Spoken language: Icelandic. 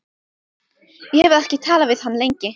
Ég hafði ekki talað við hann lengi.